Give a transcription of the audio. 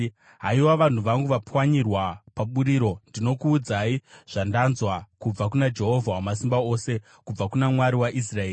Haiwa, vanhu vangu vapwanyirwa paburiro, ndinokuudzai zvandanzwa kubva kuna Jehovha Wamasimba Ose, kubva kuna Mwari waIsraeri.